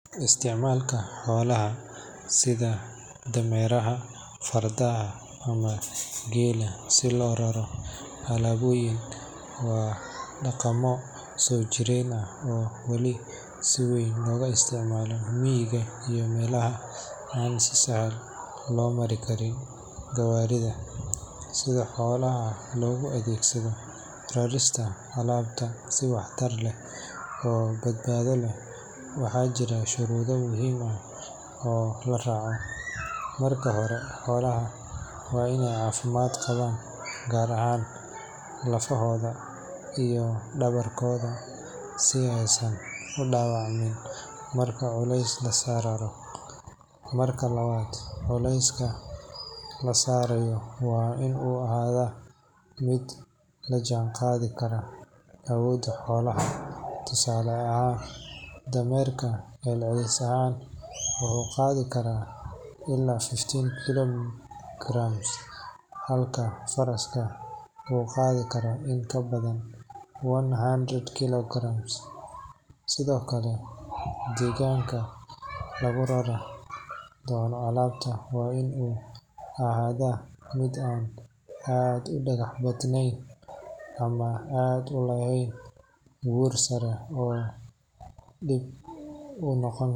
Isticmaalka xoolaha sida dameeraha, fardaha ama geela si loogu raro alaabooyin waa dhaqammo soo jireen ah oo wali si weyn loogu isticmaalo miyiga iyo meelaha aan si sahlan loo marin karin gawaarida. Si xoolaha loogu adeegsado rarista alaabta si waxtar leh oo badbaado leh, waxaa jira shuruudo muhiim ah oo la raaco. Marka hore, xoolaha waa in ay caafimaad qabaan, gaar ahaan lafahooda iyo dhabarkooda, si aysan u dhaawacmin marka culays lagu raro. Marka labaad, culayska la saarayo waa in uu ahaadaa mid la jaan qaadi kara awoodda xoolaha—tusaale ahaan dameerka celcelis ahaan wuxuu qaadi karaa ilaa fifty kilograms, halka faraska uu qaadi karo in ka badan one hundred kilograms. Sidoo kale, deegaanka lagu rari doono alaabta waa in uu ahaadaa mid aan aad u dhagax badan ama aan lahayn buur sare oo dhib ku noqon.